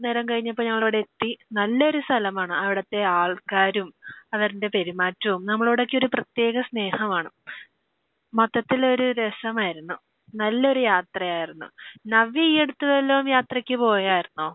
നേരം കഴിഞ്ഞപ്പോൾ ഞങ്ങൾ ഇവിടെ എത്തി. നല്ലൊരു സ്ഥലമാണ്. അവിടുത്തെ ആൾക്കാരും അവരുടെ പെരുമാറ്റവും നമ്മളോടൊക്കെ ഒരു പ്രത്യേക സ്നേഹമാണ്. മൊത്തത്തിൽ ഒരു രസമായിരുന്നു. നല്ലൊരു യാത്രയായിരുന്നു. നവ്യ ഈ അടുത്ത് വല്ല യാത്രയ്ക്കും പോയായിരുന്നോ?